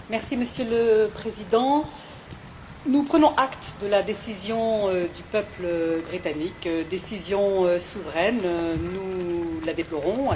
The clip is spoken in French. Monsieur le Président, nous prenons acte de la décision du peuple britannique décision souveraine et nous la déplorons.